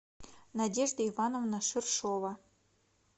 надежда ивановна ширшова